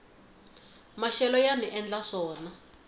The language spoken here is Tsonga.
maxelo yani endla swona